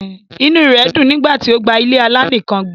Inú rè dun nígbà tó gba ilé-alá nìkàn gbé